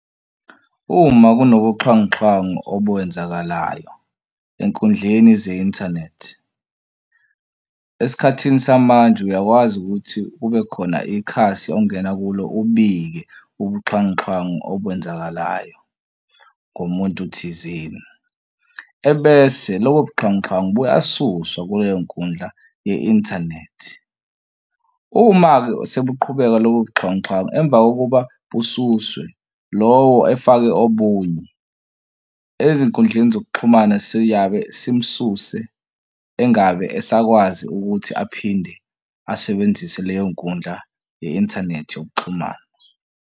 Uma kunobuxhwanguxhwangu okwenzakalayo enkundleni ze-inthanethi esikhathini samanje uyakwazi ukuthi kube khona ikhasi ongena kulo ubike ubuxhwanguxhwangu okwenzakalayo ngomuntu thizeni. Ebese lobo buxhwanguxhwangu buyasuswa kuleyo nkundla ye-inthanethi. Uma-ke sebuqhubeka lobo buxhwanguxhwangu emva kokuba bususwe lowo efake obunye ezinkundleni zokuxhumana siyabe simususe engabe esakwazi ukuthi aphinde asebenzise leyo nkundla ye-inthanethi yokuxhumana.